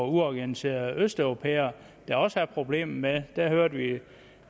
uorganiserede østeuropæere der også er problemer med det hørte vi